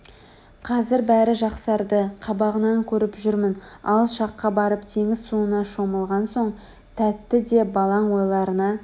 Қазір бәрі жақсарды Қабағынан көріп жүрмін алыс жаққа барып теңіз суына шомылған соң тәтті де балаң ойларына